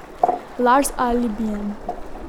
Laž z alibijem.